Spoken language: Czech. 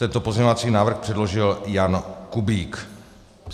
Tento pozměňovací návrh předložil Jan Kubík.